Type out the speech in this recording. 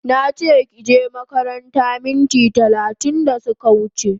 Nache kije makaranta minti talatin da suka wuche